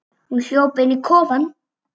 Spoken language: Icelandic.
Hún hljóp inn í kofann.